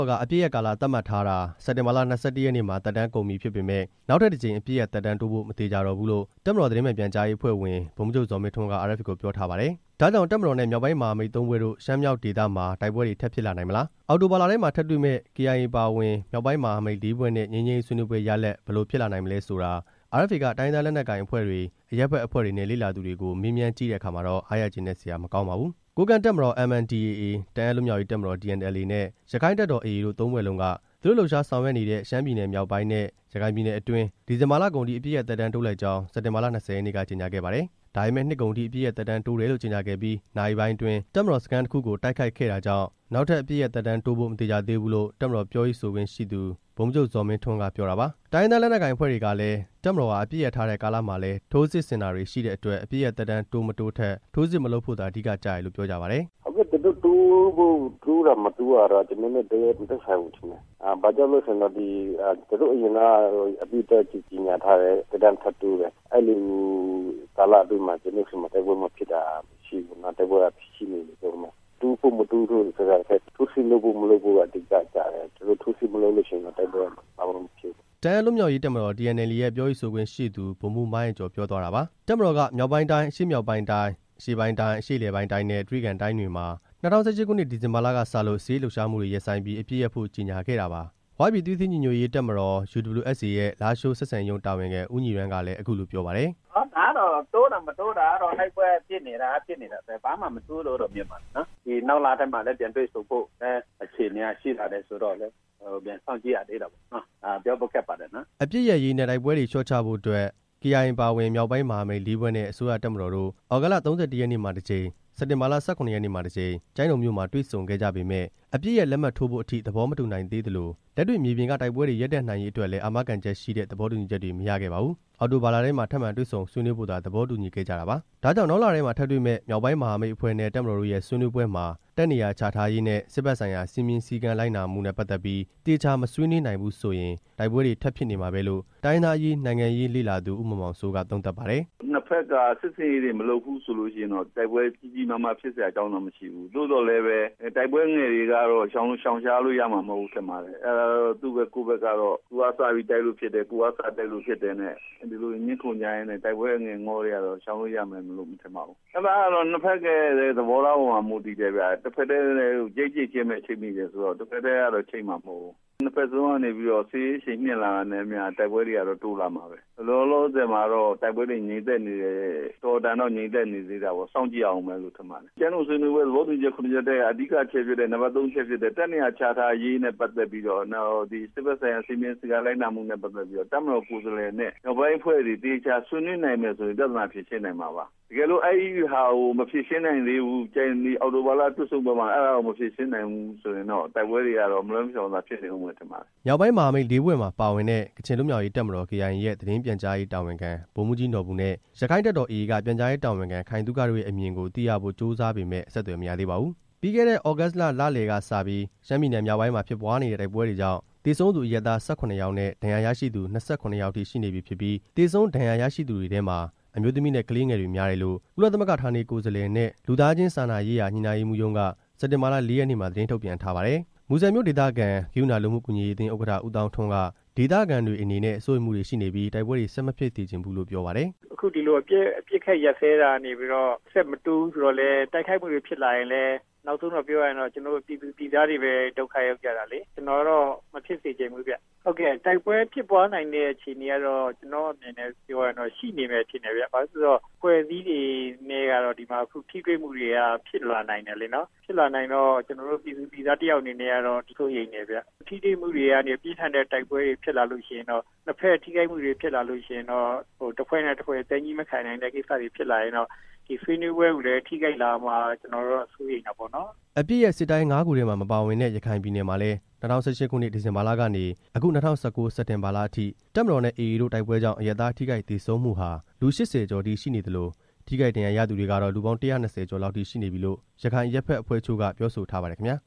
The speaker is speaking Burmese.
ော်က အပစ်ရပ်ကာလသတ်မှတ်ထားတာ စက်တင်ဘာလ ၂၁ ရက်နေ့မှာ သက်တမ်း ကုန်ပြီဖြစ်ပေမယ့် နောက်ထပ်တစ်ကြိမ် အပစ်ရပ်သက်တမ်းတိုးဖို့ မသေချာတော့ဘူးလို့ တပ်မတော် သတင်းမှန်ပြန်ကြားရေးအဖွဲ့ဝင် ဗိုလ်မှူးချုပ် ဇော်မင်းထွန်းက RFA ကို ပြောထားပါတယ်။ ဒါကြောင့် တပ်မတော်နဲ့ မြောက်ပိုင်းမဟာမိတ်သုံးဖွဲ့တို့ ရှမ်းမြောက်ဒေသမှာ တိုက်ပွဲတွေ ထပ်ဖြစ်လာနိုင်မလား၊ အောက်တိုဘာလထဲမှာ ထပ်တွေ့မယ့် KIA အပါအဝင် မြောက်ပိုင်းမဟာမိတ် လေးဖွဲ့နဲ့ ငြိမ်းချမ်းရေးဆွေးနွေးပွဲ ရလဒ် ဘယ်လိုဖြစ်လာနိုင်မလဲဆိုတာ RFA က တိုင်းရင်းသား လက်နက်ကိုင် အဖွဲ့တွေ၊ အရပ်ဖက်အဖွဲ့တွေနဲ့ လေ့လာသူတွေကို မေးမြန်းကြည့်တဲ့အခါမှာတော့ အားရကျေနပ်စရာ မကောင်းပါဘူး။ ကိုးကန့်တပ်မတော် MNDAA၊ တအာင်းလွတ်မြောက်ရေးတပ်မတော် TNLA နဲ့ ရက္ခိုင့်တပ်တော် AA တို့ သုံးဖွဲ့လုံးက သူတို့လှုပ်ရှားဆောင်ရွက်နေတဲ့ ရှမ်းပြည်နယ်မြောက်ပိုင်းနဲ့ ရခိုင်ပြည်နယ်အတွင်း ဒီဇင်ဘာလကုန်အထိ အပစ်ရပ်သက်တမ်းတိုးလိုက်ကြောင်း စက်တင်ဘာ ၂၀ ရက်နေ့က ကြေညာခဲ့ပါတယ်။ ဒါပေမဲ့ နှစ်ကုန်အထိ အပစ်ရပ်သက်တမ်းတိုးမယ်လို့ ကြေညာခဲ့ပြီး နာရီပိုင်းအတွင်း တပ်မတော်စခန်းတစ်ခုကို တိုက်ခိုက်ခဲ့တာကြောင့် နောက်ထပ်အပစ်ရပ်သက်တမ်း တိုးဖို့ မသေချာသေးဘူးလို့ တပ်မတော်ပြောရေး ဆိုခွင့်ရှိသူ ဗိုလ်မှူးချုပ် ဇော်မင်းထွန်းက ပြောတာပါ။ တိုင်းရင်းသားလက်နက်ကိုင်အဖွဲ့တွေကလည်း တပ်မတော်ဟာ အပစ်ရပ်ထားတဲ့ကာလမှာလည်း ထိုးစစ်ဆင်တာတွေရှိတဲ့အတွက် အပစ်ရပ်သက်တမ်း တိုး၊ မတိုးထက် ထိုးစစ်မလုပ်ဖို့သာ အဓိက ကျတယ်လို့ ပြောကြပါတယ်။ "အခုသူတို့တိုးဖို့ တိုးတာမတိုးတာက ကျွန်တော်တို့နဲ့ တိုက်ရိုက်မသက်ဆိုင်ဘူးထင်တယ်၊ ဘာကြောင့်လဲဆိုရင် သူတို့အရင်က အပစ်ရပ်ကြေညာထားတယ် ပြီးတော့ထပ်တိုးတယ်၊ အဲလိုကာလအတွင်းမှာ ကျွန်တော်တို့ဆီမှာ တိုက်ပွဲမဖြစ်တာ မရှိဘူး၊ တိုက်ပွဲက ရှိနေတုန်းပဲ၊ တိုးဖို့မတိုးဖို့ဆိုတာထက် ထိုးစစ်လုပ်ဖို့ မလုပ်ဖို့က အဓိကကျတယ်၊ ထိုးစစ်မလုပ်လို့ရှိရင်တော့ တိုက်ပွဲကဘာမှမဖြစ်ဘူး" တအာင်းလွတ်မြောက်ရေးတပ်မတော် TNLA ရဲ့ ပြောရေးဆိုခွင့်ရှိသူ ဗိုလ်မှူး မိုင်းအိုက်ကျော် ပြောသွားတာပါ။ တပ်မတော်က မြောက်ပိုင်းတိုင်း၊ အရှေ့မြောက်ပိုင်းတိုင်း၊ အရှေ့ပိုင်းတိုင်း၊ အရှေ့အလယ်ပိုင်းတိုင်းနဲ့ တြိဂံတိုင်းတွေမှာ ၂ဝ၁၈ ခုနှစ် ဒီဇင်ဘာလကစလို့ စစ်ရေးလှုပ်ရှားမှုတွေ ရပ်ဆိုင်းပြီး အပစ်ရပ်ဖို့ ကြေညာခဲ့တာပါ။ "ဝ" ပြည်သွေးစည်း ညီညွတ်ရေး တပ်မတော် UWSA ရဲ့ လားရှိုး ဆက်ဆံရေးရုံးတာဝန်ခံ ဦးညီရမ်းက လည်း အခုလိုပြောပါတယ်။ "ဒါကတော့ တိုးတာ မတိုးတာကတော့ တိုက်ပွဲဖြစ်နေတာက ဖြစ်နေတာပဲ ဘာမှမထူးဘူးလို့ မြင်ပါတယ်၊ နောက်လထဲမှာလည်း တွေ့ဆုံဖို့အခြေအနေက ရှိလာသေးတယ်ဆိုတော့ စောင့်ကြည့်ရသေးတာပေါ့နော့၊ ပြောဖို့ခက်ပါတယ်" အပစ်ရပ်ရေးနဲ့ တိုက်ပွဲတွေလျှော့ချဖို့အတွက် KIA အပါအဝင် မြောက်ပိုင်းမဟာမိတ်လေးဖွဲ့နဲ့ အစိုးရ၊ တပ်မတော်တို့ သြဂုတ်လ ၃၁ ရက်နေ့မှာ တစ်ကြိမ်၊ စက်တင်ဘာလ ၁၇ ရက်နေ့မှာ တစ်ကြိမ် ကျိုင်းတုံမြို့မှာ တွေ့ဆုံခဲ့ကြပေမယ့် အပစ်ရပ် လက်မှတ်ထိုးဖို့အထိ သဘောမတူနိုင်သေးသလို လက်တွေ့မြေပြင်က တိုက်ပွဲတွေ ရပ်တန့်နိုင်ရေးအတွက်လည်း အာမခံချက်ရှိတဲ့ သဘောတူညီချက်တွေ မရခဲ့ပါဘူး။ အောက်တိုဘာလထဲမှာ ထပ်မံတွေ့ဆုံဆွေးနွေးဖို့သာ သဘောတူညီခဲ့ကြတာပါ။ ဒါကြောင့် နောက်လထဲမှာထပ်တွေ့မယ့် မြောက်ပိုင်းမဟာမိတ်အဖွဲ့နဲ့ တပ်မတော်တို့ရဲ့ ဆွေးနွေးပွဲမှာ တပ်နေရာချထားရေးနဲ့ စစ်ဘက်ဆိုင်ရာ စည်းမျဉ်းစည်းကမ်းလိုက်နာမှုနဲ့ပတ်သက်ပြီး သေချာမဆွေးနွေးနိုင်ဘူးဆိုရင် တိုက်ပွဲတွေထပ်ဖြစ်နေမှာပဲလို့ တိုင်းရင်းသားအရေး၊ နိုင်ငံရေးလေ့လာသူ ဦးမောင်မောင်စိုးက သုံးသပ်ပါတယ်။ "နှစ်ဘက်က စစ်ဆင်ရေးတွေမလုပ်ဘူးဆိုလို့ရှိရင်တော့ တိုက်ပွဲကြီးကြီးမားမားဖြစ်စရာအကြောင်း တော့မရှိဘူး၊ သို့သော်လည်းပဲ တိုက်ပွဲငယ်တွေကတော့ ရှောင်ရှားလို့ရမှာမဟုတ်ဘူး ထင်ပါတယ်၊ သူ့ဘက်ကိုယ့်ဘက်ကတော့ သူကစတိုက်လို့ဖြစ်တယ် ကိုယ်ကစတိုက်လို့ဖြစ်တယ်နဲ့ ဒီလို ငြင်းခုန်ကြရင်းနဲ့ တိုက်ပွဲအငယ်တွေကတော့ ရှောင်လွှဲလို့ရမယ်မ ထင်ပါဘူး၊ အဲဒါကတော့ နှစ်ဘက်ရဲ့သဘောထားအပေါ်မှာ မူတည်တယ်ဗျ၊ ချိတ် ချိတ်ချင်းပဲ ချိတ်မိတယ်ဆိုတော့လေ တစ်ဘက်တည်းတော့ ချိတ်မှာမဟုတ်ဘူး၊ နှစ်ဘက်စလုံးကနေပြီးတော့ စစ်ရေးအရှိန်မြှင့်လာတာနဲ့အမျှ တိုက်ပွဲတွေကတော့ တိုးလာမှာပဲ၊ လောလောဆယ်မှာတော့ တိုက်ပွဲတွေငြိမ်သက်နေတယ် အတော်အတန်တော့ ငြိမ်သက်နေသေးတာပေါ့ စောင့်ကြည့်ရဦးမယ်ထင်ပါတယ်၊ ကျိုင်းတုံ ဆွေးနွေးပွဲ သဘောတူညီချက် ခုနှစ်ချက်ထဲက အဓိကအချက်ဖြစ်တဲ့ နံပါတ်သုံးအချက်ဖြစ်တဲ့ တပ်နေရာချထားရေးနဲ့ပတ်သက်ပြီးတော့ နောက် စစ်ဘက်ဆိုင်ရာစည်းမျဉ်းစည်းကမ်း လိုက်နာမှုနဲ့ပတ်သက်ပြီးတော့ တပ်မတော်ကိုယ်စားလှယ်နဲ့ မြောက်ပိုင်းမဟာမိတ်အဖွဲ့တွေ သေချာဆွေးနွေးနိုင်မယ်ဆိုရင် ပြဿနာဖြေရှင်းနိုင်မှာပါ၊ တကယ်လို့ အဲဒီဟာကို မဖြေရှင်းနိုင်သေးဘူး အောက်တိုဘာလတွေ့ဆုံးပွဲမှာ အဲ့ဒါကို မဖြေရှင်းနိုင်ဘူးဆိုရင်တော့ တိုက်ပွဲတွေကတော့ မလွှဲမရှောင်သာ ဖြစ်နေဦးမယ်ထင်ပါတယ်" မြောက်ပိုင်းမဟာမိတ်လေးဖွဲ့မှာပါဝင်တဲ့ ကချင်လွတ်မြောက်ရေးတပ်မတော် KIA ရဲ့ သတင်းပြန်ကြားရေးတာဝန်ခံ ဗိုလ်မှူးကြီး နော်ဘူနဲ့ ရက္ခိုင့်တပ်တော် AA က ပြန်ကြားရေးတာဝန်ခံ ခိုင်သုခ တို့ရဲ့အမြင်ကို သိရဖို့ ကြိုးစားပေမယ့် အဆက်အသွယ် မရသေးပါဘူး။ ပြီးခဲ့တဲ့ သြဂုတ်လလယ်ကစပြီး ရှမ်းပြည်နယ်မြောက်ပိုင်းမှာဖြစ်ပွားနေတဲ့ တိုက်ပွဲတွေကြောင့် သေဆုံးသူ အရပ်သား ၁၇ ယောက်နဲ့ ဒဏ်ရာရရှိသူ ၂၇ ယောက်ရှိနေပြီဖြစ်ပြီး သေဆုံး၊ ဒဏ်ရာရရှိသူတွေထဲမှာ အမျိုးသမီးနဲ့ ကလေးငယ်တွေများတယ်လို့ ကုလသမဂ္ဂ ဌာနေကိုယ်စားလှယ်နဲ့ လူသားချင်းစာနာရေးရာ ညှိနှိုင်းရေးမှူးရုံးက စက်တင်ဘာလ ၄ ရက်နေ့မှာ သတင်းထုတ်ပြန်ထားပါတယ်။ မူဆယ်မြို့ဒေသခံ ဂရုဏာလူမှုကူညီရေးအသင်း ဥက္ကဋ္ဌ ဦးသောင်းထွန်းက ဒေသခံတွေအနေနဲ့ စိုးရိမ်မှုတွေရှိနေပြီး တိုက်ပွဲတွေ ဆက်မဖြစ်စေချင်ဘူးလို့ ပြောပါတယ်။ "အခု ဒီလိုအပစ်အခတ်ရပ်စဲတာကနေပြီးတော့ ဆက်မတိုးဘူးဆိုတော့လည်း တိုက်ခိုက်မှုတွေ ဖြစ်လာခဲ့ရင်လည်း နောက်ဆုံးတော့ပြောရရင်တော့ ကျွန်တော်တို့ ပြည်သူပြည်သားတွေပဲ ဒုက္ခရောက်ကြတာလေ၊ ကျွန်တော်တော့ မဖြစ်စေချင်ဘူးဗျ၊ ဟုတ်ကဲ့ တိုက်ပွဲဖြစ်ပွားနိုင်တဲ့ အခြေအနေကတော့ ကျွန်တော့အနေနဲ့ ပြောရရင်တော့ ရှိနေမယ်ထင်တယ်၊ ဘာဖြစ်လို့လဲဆိုရင် အဖွဲ့အစည်းတွေနဲ့က ဒီမှာ ထိတွေ့မှုတွေက ဖြစ်လာနိုင်တယ်လေနော်၊ ဖြစ်လာနိုင်တော့ ကျွန်တော်တို့ ပြည်သူပြည်သားတစ်ယောက်အနေနဲ့ကတော့ စိုးရိမ်တယ်ဗျ၊ ထိတွေ့မှုတွေကနေ ပြင်းထန်တဲ့တိုက်ပွဲတွေ ဖြစ်လာလို့ရှိရင်တော့ နှစ်ဘက်ထိခိုက်မှုတွေ ဖြစ်လာလို့ရှိရင်တော့ တစ်ဖွဲ့နဲ့တစ်ဖွဲ့ သည်းညည်းမခံတဲ့ကိစ္စတွေဖြစ်လာရင်တော့ ဒီဆွေးနွေးပွဲကိုလည်း ထိခိုက်လာမှာ ကျွန်တော်တော့ စိုးရိမ်တာပေါ့နော်" အပစ်ရပ် စစ်တိုင်း ငါးခုထဲမှာ မပါဝင်တဲ့ ရခိုင်ပြည်နယ်မှာလည်း ၂၀၁၈ ဒီဇင်ဘာလကနေ အခု ၂၀၁၉ စက်တင်ဘာလအထိ တပ်မတော်နဲ့ AA တို့ တိုက်ပွဲကြောင့် အရပ်သား ထိခိုက်သေဆုံးမှုဟာ လူ ၈၀ ကျော်အထိရှိနေသလို ထိခိုက်ဒဏ်ရာရသူတွေကတော့ လူပေါင်း ၁၂၀ ကျော်လောက်အထိရှိနေပြီလို့ ရခိုင်အရပ်ဖက်အဖွဲ့တချို့က ပြောဆိုထားပါတယ်ခင်ဗျာ